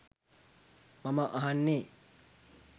මම අහන්නේ.